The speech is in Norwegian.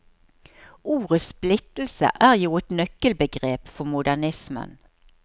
Ordet splittelse er jo et nøkkelbegrep for modernismen.